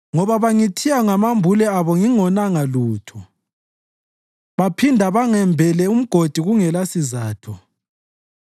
Ngoba bangithiya ngamambule abo ngingonanga lutho, baphinda bangembela umgodi kungelasizatho,